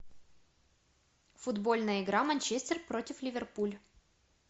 футбольная игра манчестер против ливерпуль